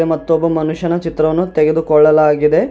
ಮತ್ತು ಒಬ್ಬ ಮನುಷ್ಯನ ಚಿತ್ರಣವನ್ನು ತೆಗೆದುಕೊಳ್ಳಲಾಗಿದೆ.